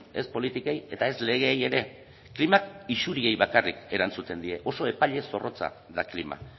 ez politikei eta ez legeei ere klimak isuriei bakarrik erantzuten die oso epaile zorrotza da klima